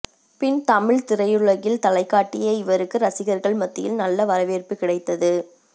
பின் தமிழ் திரையுலகில் தலைக்காட்டிய இவருக்கு ரசிகர்கள் மத்தியில் நல்ல வரவேற்பு கிடைத்தது